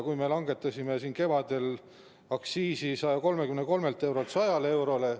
Me langetasime kevadel aktsiisi 133 eurolt 100 eurole.